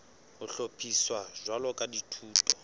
ho hlophiswa jwalo ka dithuto